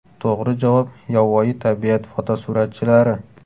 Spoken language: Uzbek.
To‘g‘ri javob yovvoyi tabiat fotosuratchilari!